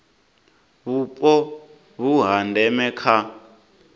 vhupo vhu ha ndeme kha